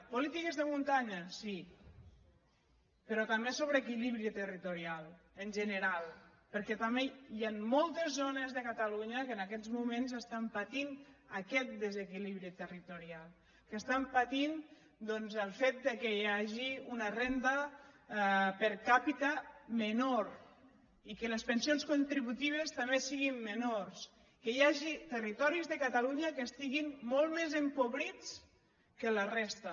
polítiques de muntanya sí però també sobre equilibri territorial en general perquè també hi han moltes zones de catalunya que en aquests moments estan patint aquest desequilibri territorial que estan patint doncs el fet que hi hagi una renda per capita menor i que les pensions contributives també siguin menors que hi hagi territoris de catalunya que estiguin molt més empobrits que la resta